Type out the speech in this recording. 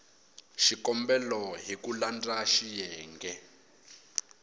xikombelo hi ku landza xiyenge